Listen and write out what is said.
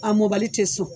A mɔbali tɛ sɔn